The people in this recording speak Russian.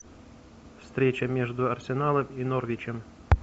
встреча между арсеналом и норвичем